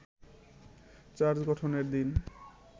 charge গঠনের দিন